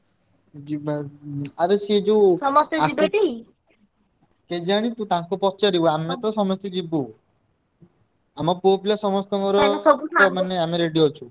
ଯିବା ଉଁ ଆରେ ସେ ଯୋଉ କେଜାଣି ତୁ ତାଙ୍କୁ ପଚାରିବୁ ଆମେ ତ ସମସ୍ତେ ଯିବୁ। ଆମ ପୁଅପିଲା ସମସ୍ତଙ୍କର ମାନେ ଆମେ ready ଅଛୁ।